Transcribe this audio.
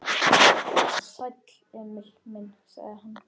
Sæll, Emil minn, sagði hann.